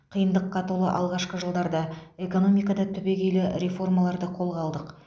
қиындыққа толы алғашқы жылдарда экономикада түбегейлі реформаларды қолға алдық